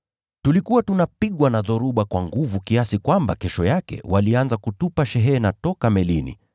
Tulikuwa tunapigwa na dhoruba kwa nguvu, kiasi kwamba kesho yake walianza kutupa shehena toka melini.